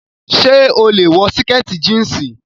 So lè wọ sìkẹ̀tì jíǹsì.